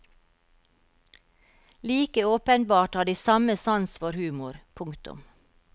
Like åpenbart har de samme sans for humor. punktum